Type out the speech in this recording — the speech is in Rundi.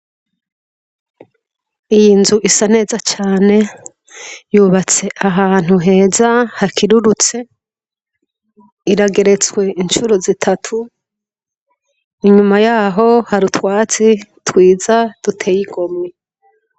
Iyi nzu isa neza cane yubatse ahantu heza hakirurutse irageretswe incura zitatu inyuma yaho hari utwatsi twiza duteye igomwe.